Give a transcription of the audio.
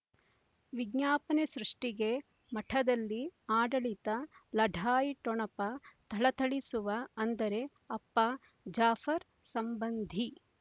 ವಿಜ್ಞಾಪನೆ ಸೃಷ್ಟಿಗೆ ಮಠದಲ್ಲಿ ಆಡಳಿತ ಲಢಾಯಿ ಠೊಣಪ ಥಳಥಳಿಸುವ ಅಂದರೆ ಅಪ್ಪ ಜಾಫರ್ ಸಂಬಂಧಿ